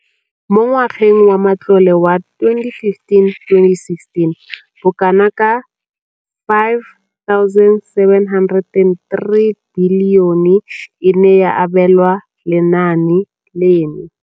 Mo ngwageng wa matlole wa 2015,16, bokanaka R5 703 bilione e ne ya abelwa lenaane leno.